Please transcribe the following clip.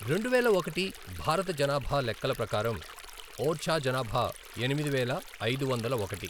రెండువేల ఒకటి భారత జనాభా లెక్కల ప్రకారం, ఓర్చా జనాభా ఎనిమిది వేల ఐదు వందల ఒకటి.